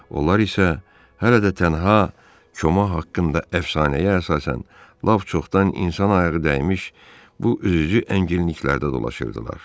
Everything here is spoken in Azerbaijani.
Onlar isə hələ də tənha Koma haqqında əfsanəyə əsasən, lap çoxdan insan ayağı dəymiş bu üzücü ənginliklərdə dolaşırdılar.